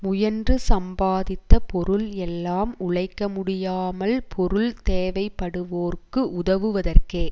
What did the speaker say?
முயன்று சம்பாதித்த பொருள் எல்லாம் உழைக்க முடியாமல் பொருள் தேவைப்படுவோர்க்கு உதவுவதற்கே